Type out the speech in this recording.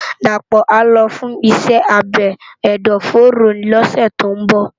Dapo á lò fùn iṣè ábé ẹdọfóró lòsè tó n bò